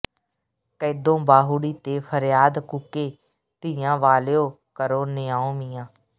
ਕੈਦੋਂ ਬਾਹੁੜੀ ਤੇ ਫਰਿਆਦ ਕੂਕੇ ਧੀਆਂ ਵਾਲਿਉ ਕਰੋ ਨਿਆਂਉ ਮੀਆਂ